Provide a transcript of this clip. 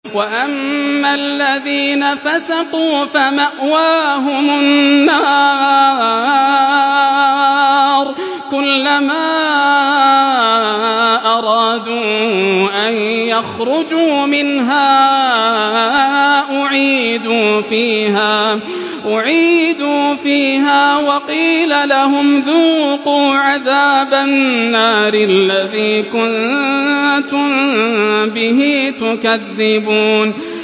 وَأَمَّا الَّذِينَ فَسَقُوا فَمَأْوَاهُمُ النَّارُ ۖ كُلَّمَا أَرَادُوا أَن يَخْرُجُوا مِنْهَا أُعِيدُوا فِيهَا وَقِيلَ لَهُمْ ذُوقُوا عَذَابَ النَّارِ الَّذِي كُنتُم بِهِ تُكَذِّبُونَ